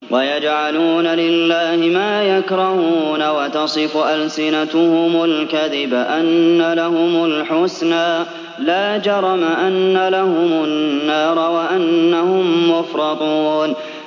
وَيَجْعَلُونَ لِلَّهِ مَا يَكْرَهُونَ وَتَصِفُ أَلْسِنَتُهُمُ الْكَذِبَ أَنَّ لَهُمُ الْحُسْنَىٰ ۖ لَا جَرَمَ أَنَّ لَهُمُ النَّارَ وَأَنَّهُم مُّفْرَطُونَ